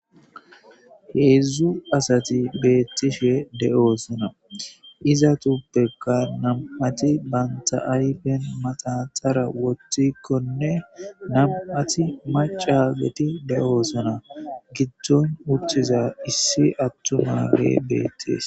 Heedzdzu asati beettishe de7oosona iza tubbekka nam7ati banta ayfen maxaxara woththikkonne nam7ati macageti de7oosona giddon wuttiza issi attumale beettees.